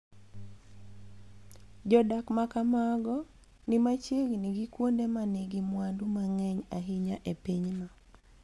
Jodak ma kamago ni machiegni gi kuonde ma nigi mwandu mang�eny ahinya e pinyno.